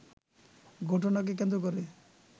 ঘটনাকে কেন্দ্র করে